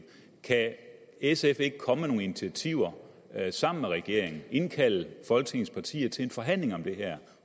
kan sf ikke komme med nogle initiativer sammen med regeringen indkalde folketingets partier til en forhandling om det her